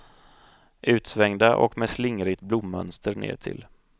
Utsvängda och med slingrigt blommönster nedtill.